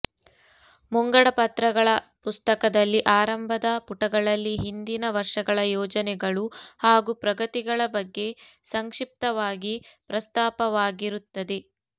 ಮುಂಗಡ ಪತ್ರಗಳ ಪುಸ್ತಕದಲ್ಲಿ ಆರಂಭದ ಪುಟಗಳಲ್ಲಿ ಹಿಂದಿನ ವರ್ಷಗಳ ಯೋಜನೆಗಳು ಹಾಗೂ ಪ್ರಗತಿಗಳ ಬಗ್ಗೆ ಸಂಕ್ಷಿಪ್ತವಾಗಿ ಪ್ರಸ್ತಾಪವಾಗಿರುತ್ತದೆ